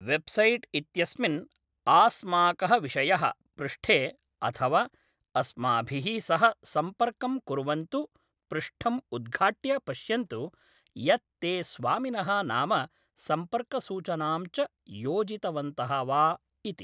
Website इत्यस्मिन् 'आस्माकः विषयः' पृष्ठे अथवा 'अस्माभिः सह सम्पर्कं कुर्वन्तु' पृष्ठं उद्घाट्य पश्यन्तु यत् ते स्वामिनः नाम सम्पर्कसूचनां च योजितवन्तः वा इति।